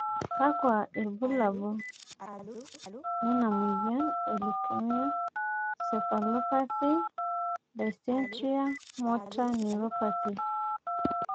kakua irbulabol lena moyian e Leukoencephalopathy dystonia motor neuropathy ?